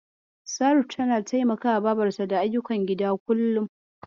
Saratu tana taimakawa babarta da ayyukan gida kullum.